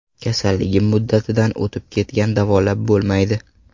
Kasalligim muddatidan o‘tib ketgan davolab bo‘lmaydi.